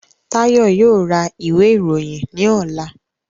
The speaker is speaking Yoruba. Tayo yoo ra iwe iroyin ni ọla